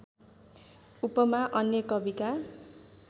उपमा अन्य कविका